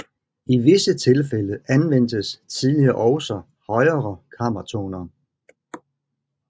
I visse tilfælde anvendtes tidligere også højere kammertoner